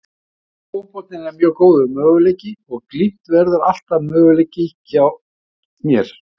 Norski fótboltinn er mjög góður möguleiki og Glimt verður alltaf möguleiki hjá mér.